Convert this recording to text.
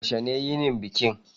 Yaushe ne yinin bikin?